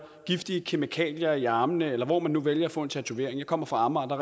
giftige kemikalier i armene eller hvor man nu vælger at få en tatovering jeg kommer fra amager og